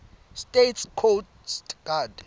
states coast guard